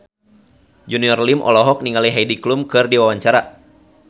Junior Liem olohok ningali Heidi Klum keur diwawancara